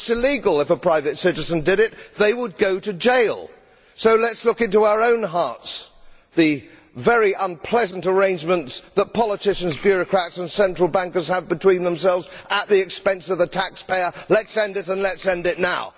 It is illegal if a private citizen did it, they would go to jail. So let us look into our own hearts. All the very unpleasant arrangements that politicians, bureaucrats and central bankers have between them at the expense of the taxpayer, let us end them and let us end them now.